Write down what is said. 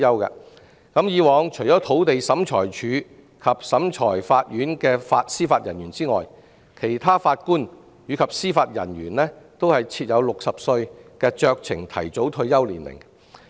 以往除土地審裁處及裁判法院的司法人員外，其他法官及司法人員均設有60歲的酌情提早退休年齡。